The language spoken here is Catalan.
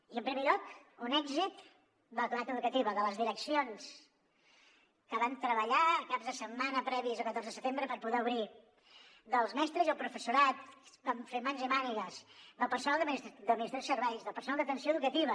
i en primer lloc un èxit de la comunitat educativa de les direccions que van treballar caps de setmana previs al catorze de setembre per poder obrir dels mestres i el professorat que van fer mans i mànigues del personal d’administració i serveis del personal d’atenció educativa